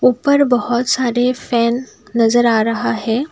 ऊपर बहुत सारे फैन नजर आ रहा है ।